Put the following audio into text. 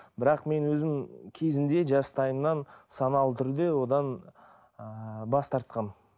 бірақ мен өзім кезінде жастайымнан саналы түрде одан ыыы бас тартқанмын